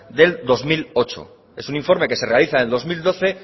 del dos mil ocho es un informe que se realiza en el dos mil doce